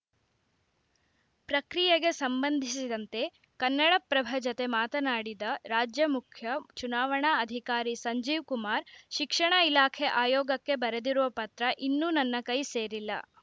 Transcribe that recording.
ಪ್ರಕ್ರಿಯೆಗೆ ಸಂಬಂಧಿಸಿದಂತೆ ಕನ್ನಡಪ್ರಭ ಜತೆ ಮಾತನಾಡಿದ ರಾಜ್ಯ ಮುಖ್ಯ ಚುನಾವಣಾ ಅಧಿಕಾರಿ ಸಂಜೀವ್‌ಕುಮಾರ್‌ ಶಿಕ್ಷಣ ಇಲಾಖೆ ಆಯೋಗಕ್ಕೆ ಬರೆದಿರುವ ಪತ್ರ ಇನ್ನೂ ನನ್ನ ಕೈ ಸೇರಿಲ್ಲ